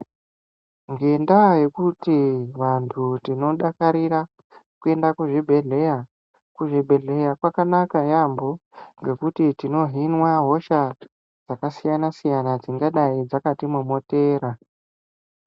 Ngendaa yekuti vantu tinodakarira kuenda kuzvibhedhlera. kuzvibhedhlera kwakanaka yampho ngekuti tinohinwa hosha dzakasiyana-siyana dzingadai dzakatimomotera.